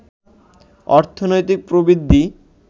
অর্থনৈতিক প্রবৃদ্ধি